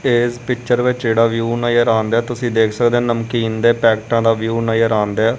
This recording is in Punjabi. ਇਸ ਪਿਕਚਰ ਵਿੱਚ ਜਿਹੜਾ ਵਿਊ ਨਜ਼ਰ ਆਨ ਡਿਆ ਤੁਸੀਂ ਦੇਖ ਸਕਦੇ ਨਮਕੀਨ ਦੇ ਪੈਕਟਾਂ ਦਾ ਵਿਊ ਨਜ਼ਰ ਆਨ ਡਿਆ।